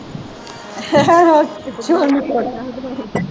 ਚੌਲ ਨੂੰ ਤੜਕਾ